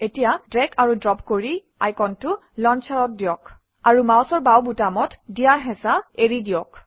এতিয়া ড্ৰেগ আৰু ড্ৰপ কৰি আইকনটো লঞ্চাৰত দিয়ক আৰু মাউচৰ বাওঁ বুটামত দিয়া হেঁচা এৰি দিয়ক